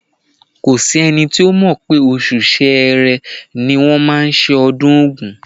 Kò s’ẹ́ni tó mọ̀ pé oṣù Ṣẹẹrẹ ni wọ́n máa ṣe ọdún Ògún.